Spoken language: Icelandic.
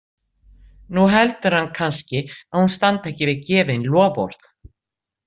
Nú heldur hann kannski að hún standi ekki við gefin loforð.